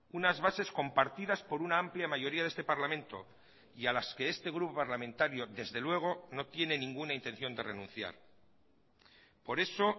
unas bases compartidas por una amplia mayoría de este parlamento y a las que este grupo parlamentario desde luego no tiene ninguna intención de renunciar por eso